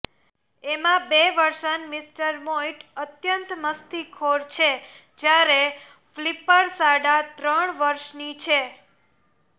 એમાં બે વર્ષન મિસ્ટર મોઈટ અત્યંત મસ્તીખોર છે જ્યારે ફ્લ્પિર સાડા ત્રણ વરસની છે